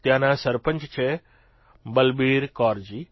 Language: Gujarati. ત્યાંનાં સરપંચ છે બલબીરકૌરજી